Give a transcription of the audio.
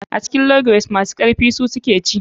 A cikin log race masu karfi su suke ci.